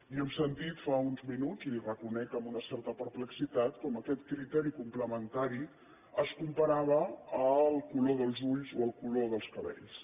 i hem sentit fa uns minuts i ho reconec amb una certa perplexitat com aquest criteri complementari es comparava amb el color dels ulls o el color dels cabells